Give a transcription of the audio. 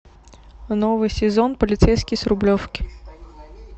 новый сезон полицейский с рублевки